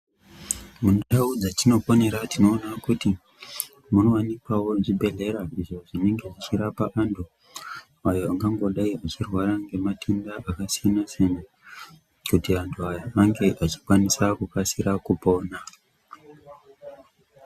Mundau dzatinoponera tinoona kuti munowanikwawo zvibhedhlera izvo zvinenge zvichirapa antu ayo angangodai achirwara ngematenda akasiyana-siyana kuti antu aya ange achikwanisa kukasira kupona.